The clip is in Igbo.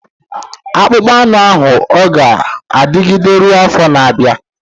Akpụkpọ anụ ahụ ọ ga-adịgide ruo afọ na-abịa?